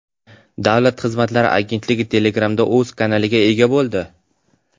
Davlat xizmatlari agentligi Telegram’da o‘z kanaliga ega bo‘ldi.